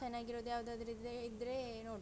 ಚೆನ್ನಾಗಿರುದು ಯಾವ್ದಾದ್ರು ಇದ್ರೆ ಇದ್ರೆ ನೋಡುವ.